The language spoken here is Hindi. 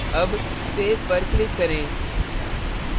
अब save पर click करें